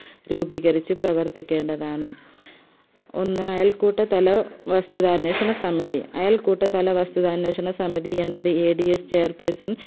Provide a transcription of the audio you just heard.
രൂപീകരിച് പ്രവർത്തിക്കേണ്ടതാണ് ഒന്ന് അയൽക്കൂട്ടത്തല വസ്തുത അന്വേഷണസമിതി അയൽക്കൂട്ടത്തല വസ്തുതഅന്വേഷണ സമിതി എന്നത് adschairperson